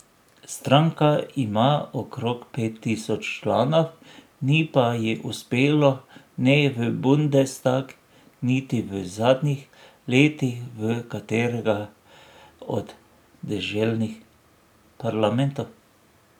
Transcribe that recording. Stranka ima okrog pet tisoč članov, ni pa ji uspelo ne v bundestag niti v zadnjih letih v katerega od deželnih parlamentov.